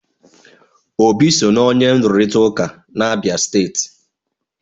Obi so na onye nrụrịta ụka n'Abia steeti.